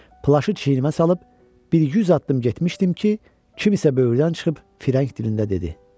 Plaşı çiynimə salıb bir 100 addım getmişdim ki, kimisə böyürdən çıxıb fireng dilində dedi: